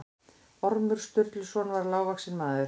Ormur Sturluson var lágvaxinn maður.